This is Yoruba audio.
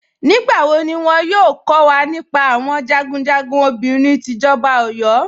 Nígbàwọ́ ní wọ́n yóò kọ̀ wà nípá àwọn jagunjagun obìnrin tí ìjọba Ọ̀yọ́?